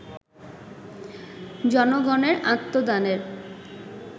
জনগণের আত্মদানের